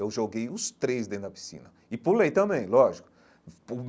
Eu joguei os três dentro da piscina e pulei também, lógico.